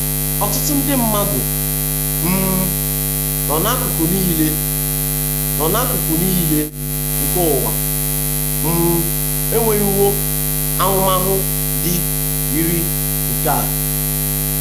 Ọtụtụ ndi madụ um nọ n’akụkụ nile nọ n’akụkụ nile nke ụwa um enwewo ahụmahụ ndị yiri nke a.